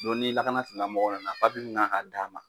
Dɔn ni lakana tigila mɔgɔw nana papiye min kan ka d'a ma